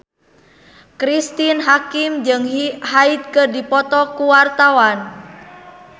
Cristine Hakim jeung Hyde keur dipoto ku wartawan